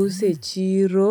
[paise] use chiro